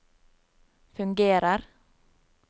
fungerer